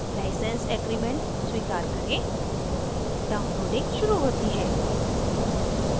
license agreement स्वीकार करें downloading शुरू होती है